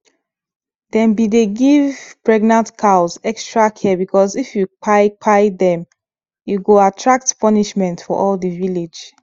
them be dey give pregnant cows extra care because if you kpai kpai them e go attract punishment for all the village